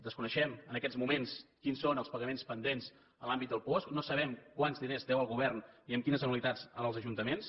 desconeixem en aquests moments quins són els pagaments pendents en l’àmbit del puosc no sabem quants diners deu el govern i amb quines anualitats als ajuntaments